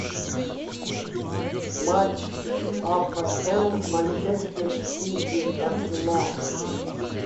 матч апл манчестер сити арсенал